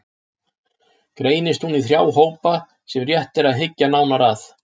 Greinist hún í þrjá hópa sem rétt er að hyggja nánar að